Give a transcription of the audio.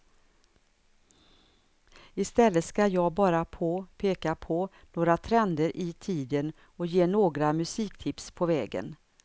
I stället ska jag bara på peka på några trender i tiden och ge några musiktips på vägen.